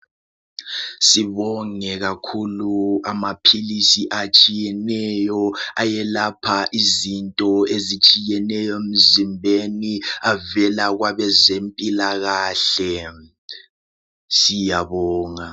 Sibonge kakhulu amaphilisi atshiyeneyo ayelapha izinto ezitshiyeneyo emzimbeni avela kwabezempilakahle ,siyabonga.